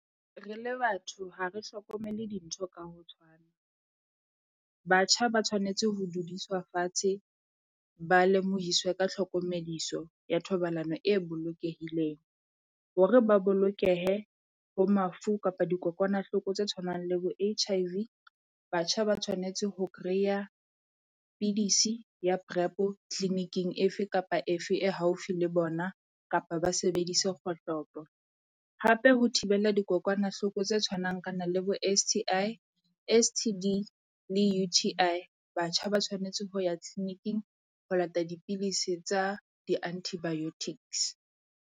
Re le batho ha re hlokomele dintho ka ho tshwana, batjha ba tshwanetse ho dudiswa fatshe ba lemohise ka tlhokomediso ya thobalano e bolokehileng. Hore ba bolokehe bo mafu kapa dikokwanahloko tse tshwanang le bo H_I_V. Batjha ba tshwanetse ho kreya pidisi ya Prep-o clinic-ing efe kapa efe e haufi le bona kapa ba sebedise kgohlopo. Hape ho thibela dikokwanahloko tse tshwanang kana le bo S_T_I, S_T_D, le U_T_I. Batjha ba tshwanetse ho ya clinic-ing ho lata dipilisi tsa di-antibiotics.